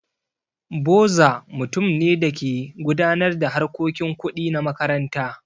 Boza mutum ne da ke gudanar da harkokin kuɗi na makaranta.